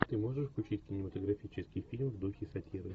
ты можешь включить кинематографический фильм в духе сатиры